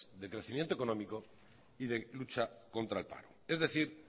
de crecimiento económico y de lucha contra el paro es decir